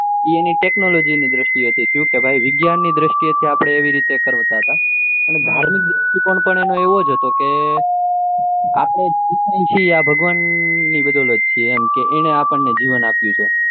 એની એ technology ની દ્રષ્ટિ એ હતી કે વિજ્ઞાન ની દ્રષ્ટિએ એ આપડે એવી રીતે કરતા અને એનો ધાર્મિક દૃષ્ટિકોણ એનો એવો જ હતો કે આપને જે કઈ છીએ આ બધુ ભગવાન ની બદોલત છે એને આપડે ન જીવન આપ્યું છે